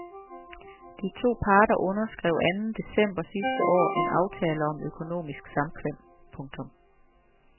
De to parter underskrev anden december sidste år en aftale om økonomisk samkvem. punktum